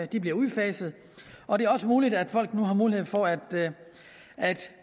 de bliver udfaset og det er også muligt at folk nu har mulighed for at